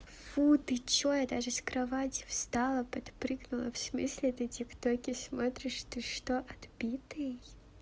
фу ты что я даже с кровати встала подпрыгнула в смысле это тик токе смотришь ты что отбитый